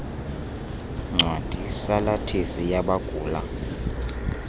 ncwadi salathisi yabagula